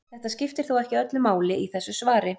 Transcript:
Þetta skiptir þó ekki öllu máli í þessu svari.